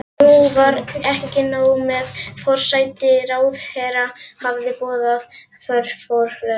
Nú var ekki nóg með að forsætisráðherra hafði boðað forföll.